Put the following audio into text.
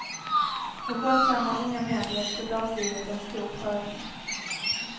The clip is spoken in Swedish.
För skötsamma unga män blev soldatlivet en för stor prövning.